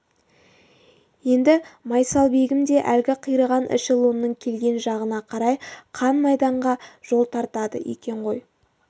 енді майсалбегім де әлгі қираған эшелонның келген жағына қарай қан майданға жол тартады екен ғой